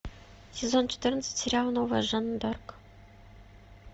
сезон четырнадцать сериал новая жанна дарк